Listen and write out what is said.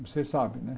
Você sabe, né?